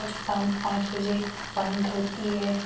शाम पांच बजे बंद होती है।